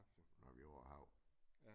Når vi er over hav